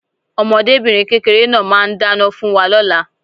Ọmọdébìnrin kékeré náà máà ń dáná fún wa lóla